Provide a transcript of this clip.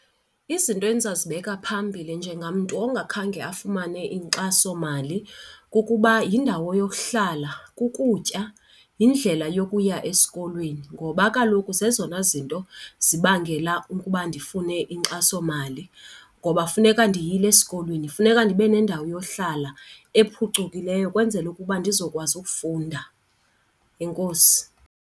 Izinto endingazibeka phambili njengamntu ongakhange afumane inkxasomali kukuba yindawo yokuhlala, kukutya yindlela yokuya esikolweni ngoba kaloku zezona zinto zibangela ukuba ndifune inkxasomali. Ngoba funeka ndiyile esikolweni, funeka ndibe nendawo yohlala ephucukileyo ukwenzele ukuba ndizokwazi ukufunda. Enkosi.